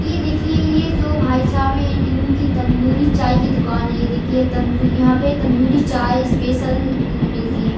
ये देखिए ये जो भाई साहब है इनकी तंदूरी चाय की दुकान है ये देखिए तंदू यहाँ पे तंदूरी चाय स्पेशल मिलती है।